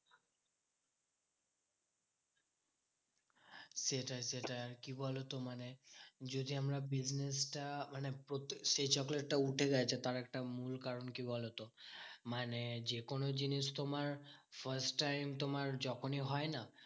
সেটাই সেটাই আর কি বলতো? মানে যদি আমরা business টা মানে সেই চকলেট টা উঠে গেছে, তার একটা মূল কারণ কি বলতো? মানে যেকোনো জিনিস তোমার first time তোমার যখনই হয় না